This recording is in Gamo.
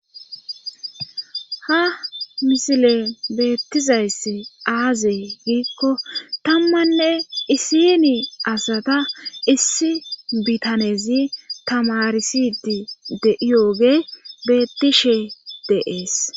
ha misile beettizayss aaze giikko tammanne isini asata issi bitanezi tamarisidi de7iyoge bettishe de,es